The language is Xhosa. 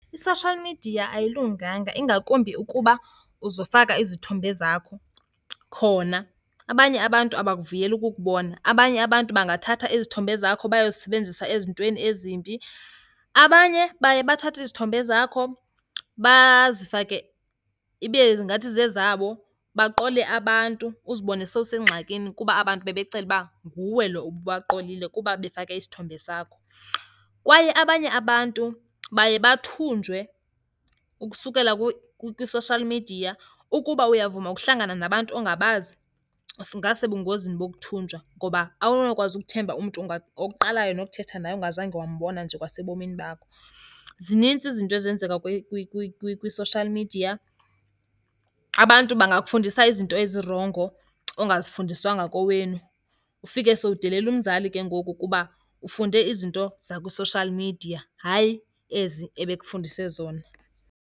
I-social media ayilunganga, ingakumbi ukuba uzofaka izithombe zakho khona. Abanye abantu abakuvuyeli ukukubona, abanye abantu bangathatha izithombe zakho bayozisebenzisa ezintweni ezimbi. Abanye baye bathathe izithombe zakho bazifake ibe ngathi zezabo, baqole abantu, uzibone sowusengxakini kuba abantu bebecela uba nguwe lo ububaqolile kuba befake isithombe sakho. Kwaye abanye abantu baye bathunjwe ukusukela kwi-social media. Ukuba uyavuma ukuhlangana nabantu ongabazi, singasebungozini bokuthunjwa ngoba awunokwazi ukuthemba umntu oqalayo nokuthetha naye ongazange wambona nje kwasebomini bakho. Zininzi izinto ezenzeka kwi-social media. Abantu bangakufundisa izinto ezirongo ongazifundiswanga kowenu, ufike sowudelela umzali ke ngoku kuba ufunde izinto zakwi-social media hayi ezi ebekufundise zona.